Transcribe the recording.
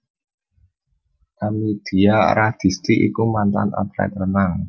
Kamidia Radisti iku mantan atlet renang